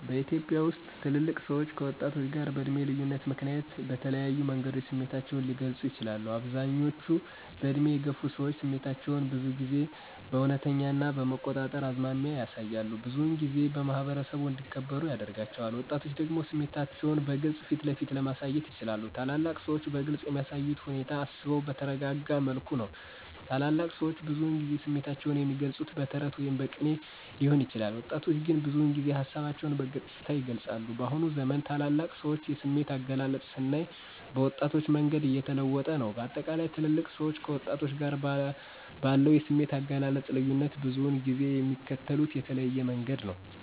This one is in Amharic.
በኢትዮጵያ ውስጥ ትልልቅ ሰዎች ከወጣቶች ጋር በዕድሜ ልዩነት ምክንያት በተለያዩ መንገዶች ስሜታቸውን ሊገልጹ ይችላሉ፦ አብዛኞቹ በዕድሜ የገፉ ሰዎች ስሜታቸውን ብዙ ጊዜ በእውነተኛ ና በመቆጣጠር አዝማሚያ ያሳያሉ። ይህ ብዙውን ጊዜ በማኅበረሰቡ እንዲከበሩ ያደርጋቸዋል። ወጣቶች ደግሞ ስሜታቸውን በግልጽ ፊትለፊት ለማሳየት ይችላሉ። ታላላቅ ሰዎች በግልፅ የሚያሳዩት ሁኔታ አስበው በተረጋጋ መልኩ ነው። ታላላቅ ሰዎች ብዙውን ጊዜ ስሜታቸውን የሚገልፁት በተረት ወይም በቅኔ ሊሆን ይችላል። ወጣቶች ግን ብዙ ጊዜ ሀሳባቸውን በቀጥታ ይገልፃሉ። በአሁኑ ዘመን ግን ታላላቅ ሰዎች የስሜት አገላለጽ ስናይ በወጣቶች መንገድ እየተለወጠ ነው። በአጠቃላይ ትልልቅ ሰዎች ከወጣቶች ጋር ባለው የስሜት አገላለጽ ልዩነት ብዙውን ጊዜ የሚከተሉት የተለያየ መንገድ ነው።